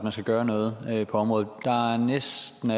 gøre noget på området næsten